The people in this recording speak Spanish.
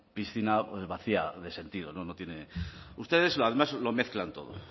piscina vacía de sentido no tiene ustedes además lo mezclan todo